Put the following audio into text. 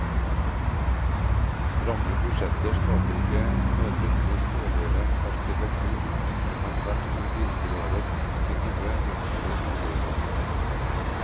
Stramme budsjetter skaper ikke nødvendigvis dårligere arkitektur, det kan tvertimot inspirerer til gode, nøkterne boligløsninger.